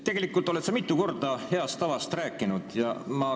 Tegelikult oled sa mitu korda heast tavast rääkinud.